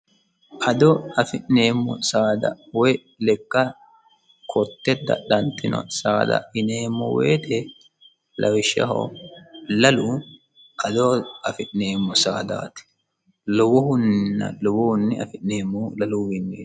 ado afi'neemmo saada woy lekka kotte dadhantino saada ineemmo woyite lawishshaho lalu ado afi'neemmo saadaati lowohunninna lowohunni afi'neemmo laluuwiinni